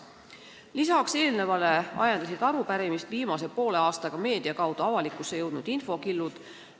Lisaks eelnevale ajendasid arupärimist esitama viimase poole aasta jooksul meedia kaudu avalikkuse ette jõudnud infokillud.